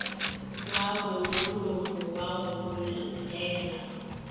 wa bomolomo wa go bogela